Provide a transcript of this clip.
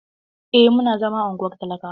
Eh, muna zama a unguwar talakawa.